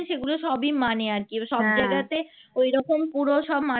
ঐরকম পুরো সব